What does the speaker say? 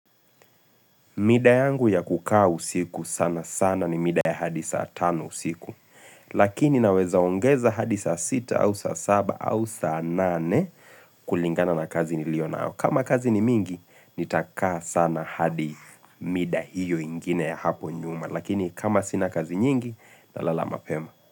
Mida yangu ya kukaa usiku sana sana ni mida ya hadi saa tano usiku, lakini naweza ongeza hadi saa sita au saa saba au saa nane kulingana na kazi niliyo nao kama kazi ni mingi, nitakaa sana hadi mida hiyo ingine ya hapo nyuma, lakini kama sina kazi nyingi, nalala mapema.